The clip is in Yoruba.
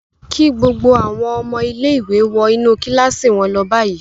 Kí gbogbo àwọn ọmọ ilé-ìwé wọ inú kíláàsì wọn lọ báyìí l!